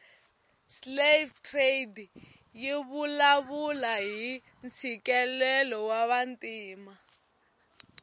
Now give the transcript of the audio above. slave trade yivulavula hhintsikelelo wavantima